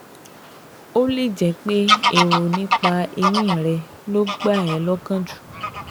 Ó lè jẹ́ pé èrò nípa ẹ̀yìn rẹ ló gbà ẹ́ lọ́kàn jù